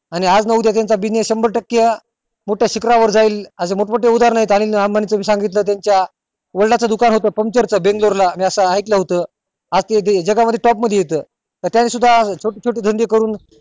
आणि आज न उद्या त्याचा शंभर टक्के मोठ्या शिखरा वर जाईल अशे मोठं मोठे उद्धरण येत त्याच्या वडिलांच दुकान होत पंचर च बेंगलोर ला मी असं ऐकलं होत आज ते जगा मध्ये top मध्ये येत छोटे छोटे धंदे करून